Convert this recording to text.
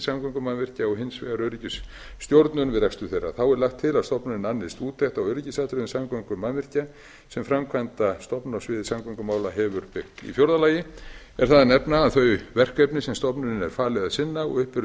samgöngumannvirkja og hins vegar öryggisstjórnun við rekstur þeirra þá er lagt til að stofnunin annist úttekt á öryggisatriðum samgöngumannvirkja sem framkvæmdastofnun á sviði samgöngumála hefur byggt í fjórða lagi er það að nefna að þau verkefni sem stofnuninni er falið að sinna og upp eru